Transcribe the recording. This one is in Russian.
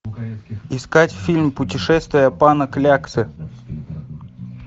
искать фильм путешествие пана кляксы